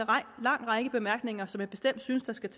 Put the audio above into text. lang række bemærkninger som jeg bestemt synes der skal